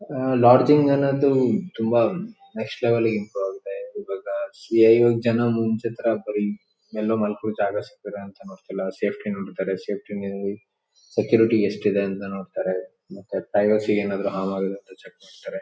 ಅಹ್ಹ್ lodging ಅನ್ನೋದು ತುಂಬಾ next level ಗೆ ಇಂಪ್ರೂವ್ ಆಗಿದೆ. ಇವಾಗ ಇವಾಗ ಜನ ಮುಂಚಿನ ತರ ಬರಿ ಎಲ್ಲೋ ಮಲ್ಕೋಳ್ಳೋಕೆ ಜಾಗ ಸಿಕ್ಕರೆ ಅಂತಾ ನೋಡ್ತಿಲ್ಲಾ. ಸೇಫ್ಟಿ ನೋಡ್ತಾರೆ ಸೇಫ್ಟಿ ನಲ್ಲಿ ಸೆಕ್ಯೂರಿಟಿ ಎಷ್ಟಿದೆ ಅಂತ ನೋಡ್ತಾರೆ ಮತ್ತೆ ಪ್ರೈವೆಸಿ ಗೆ ಏನಾದ್ರು ಹಾರ್ಮ್ ಆಗತ್ತಾ ಅಂತ ಚೆಕ್ ಮಾಡ್ತಾರೆ .